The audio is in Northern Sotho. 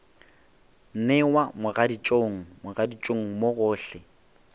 newa mogaditšong mogaditšong mo gohle